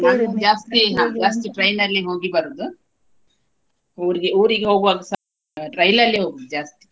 train ಅಲ್ಲಿ ಹೋಗಿ ಬರೋದು ಊರಿಗೆ ಊರಿಗೆ ಹೋಗೋವಾಗಸ ರೈಲಲ್ಲಿ ಹೋಗುದು ಜಾಸ್ತಿ.